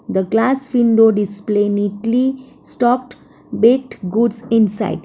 the glass window display neatly stocked baked goods inside.